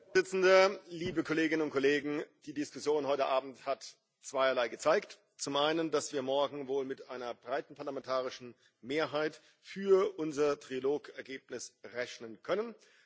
Herr Präsident, liebe Kolleginnen und Kollegen! Die Diskussion heute Abend hat zweierlei gezeigt. Zum einen, dass wir morgen wohl mit einer breiten parlamentarischen Mehrheit für unser Trilog Ergebnis rechnen können.